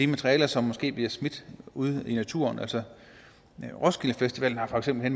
materiale som måske bliver smidt ude i naturen roskilde festivalen har for eksempel